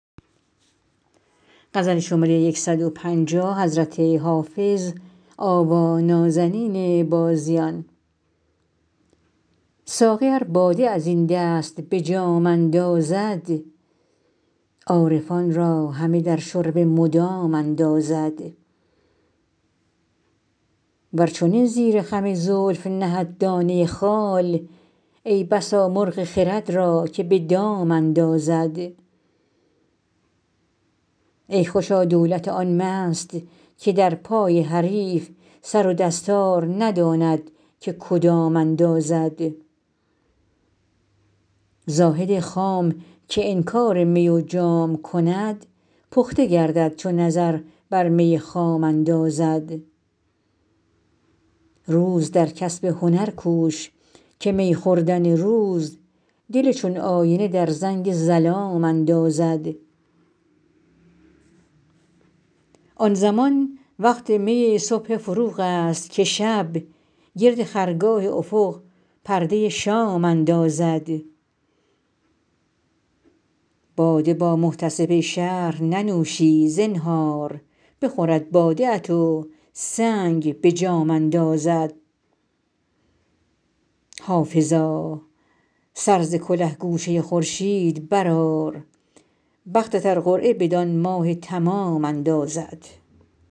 ساقی ار باده از این دست به جام اندازد عارفان را همه در شرب مدام اندازد ور چنین زیر خم زلف نهد دانه خال ای بسا مرغ خرد را که به دام اندازد ای خوشا دولت آن مست که در پای حریف سر و دستار نداند که کدام اندازد زاهد خام که انکار می و جام کند پخته گردد چو نظر بر می خام اندازد روز در کسب هنر کوش که می خوردن روز دل چون آینه در زنگ ظلام اندازد آن زمان وقت می صبح فروغ است که شب گرد خرگاه افق پرده شام اندازد باده با محتسب شهر ننوشی زنهار بخورد باده ات و سنگ به جام اندازد حافظا سر ز کله گوشه خورشید برآر بختت ار قرعه بدان ماه تمام اندازد